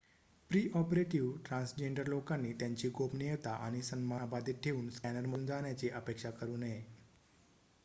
pre-operative transgender लोकांनी त्यांची गोपनीयता आणि सन्मान अबाधित ठेवून स्कॅनरमधून जाण्याची अपेक्षा करू नये